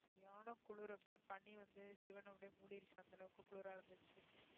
சரியான குளிர் அப்படியே பனி வந்து சிவன் அப்படியே மூடிருச்சு அந்த அளவுக்கு குளிர இருந்துச்சு